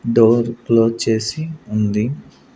Door close చేసి ఉంది.